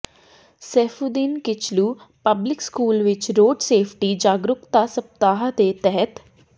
Saifuddin Kitchlew public school ਵਿਚ road safety ਜਾਗਰੂਕਤਾ ਸਪਤਾਹ ਦੇ ਤਹਿਤ